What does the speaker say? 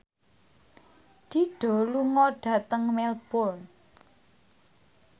Dido lunga dhateng Melbourne